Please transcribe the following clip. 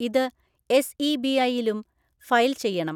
ഇത് എസ്ഈബിഐയിലും ഫയൽ ചെയ്യണം.